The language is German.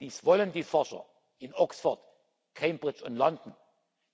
Dies wollen die Forscher in Oxford, Cambridge und London,